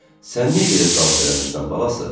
Sən niyə gedib dans eləmirsən balası?